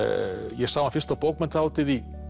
ég sá hann fyrst á bókmenntahátíð í